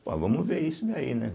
Bom, vamos ver isso daí, né?